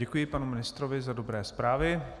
Děkuji panu ministrovi za dobré zprávy.